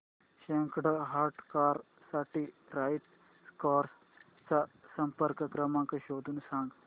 second hand car साठी right cars चा संपर्क क्रमांक शोधून सांग